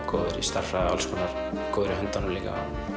góður í stærðfræði og góður í höndunum líka